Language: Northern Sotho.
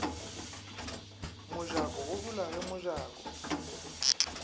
mojako go bula ge mojako